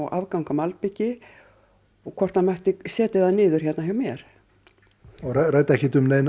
afgang af malbiki og hvort hann mæti setja það miður hjá mér og ræddi ekki um neina